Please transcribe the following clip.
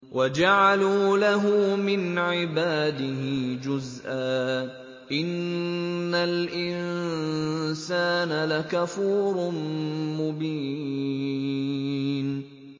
وَجَعَلُوا لَهُ مِنْ عِبَادِهِ جُزْءًا ۚ إِنَّ الْإِنسَانَ لَكَفُورٌ مُّبِينٌ